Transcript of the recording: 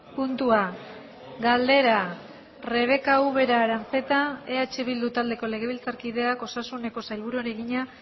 puntua galdera rebeka ubera aranzeta eh bildu taldeko legebiltzarkideak osasuneko sailburuari egina